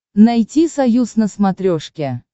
найти союз на смотрешке